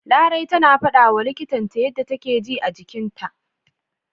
Larai tana fadawa likitan ta yanda take ji a jikinta.